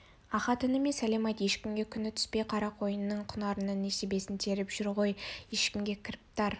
ахат ініме сәлем айт ешкімге күні түспей қарақойынның құнарынан несібесін теріп жеп жүр ғой ешкімге кіріптар